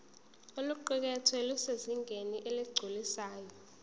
oluqukethwe lusezingeni eligculisayo